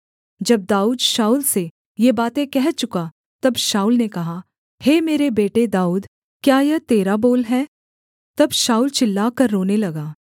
जब दाऊद शाऊल से ये बातें कह चुका तब शाऊल ने कहा हे मेरे बेटे दाऊद क्या यह तेरा बोल है तब शाऊल चिल्लाकर रोने लगा